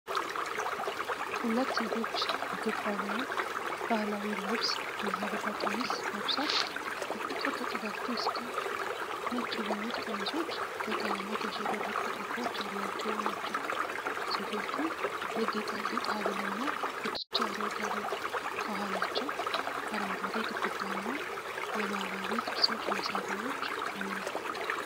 ሁለት ሴቶች የኢትዮጵያን ባህላዊ ልብስ (ሐበሻ ቀሚስ) ለብሰው በፍቅር ተጠጋግተው ይስቃሉ። ነጭ የሆኑት ቀሚሶች በቀለማት ያሸበረቁ ጥልፎች ያሏቸው ናቸው። ሴቶቹ የጌጣጌጥ ሐብልና ጉትቻ ያደርጋሉ። ከኋላቸው አረንጓዴ ግድግዳ እና የባህላዊ ቅርሶች ማስዋቢያዎች አሉ።